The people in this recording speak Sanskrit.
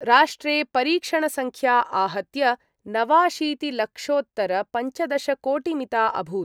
राष्ट्रे परीक्षणसंख्या आहत्य नवाशीतिलक्षोत्तरपञ्चदशकोटिमिता अभूत्।